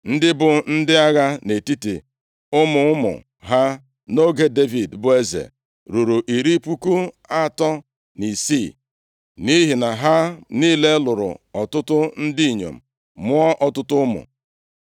Ndị bụ ndị agha nʼetiti ụmụ ụmụ ha nʼoge Devid bụ eze ruru iri puku atọ na isii (36,000), nʼihi na ha niile lụrụ ọtụtụ ndị inyom, mụọ ọtụtụ ụmụ.